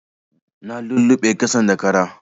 Na luluɓe ƙasan da kara